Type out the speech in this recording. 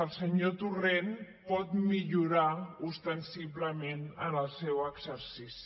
el senyor torrent pot millorar ostensiblement en el seu exercici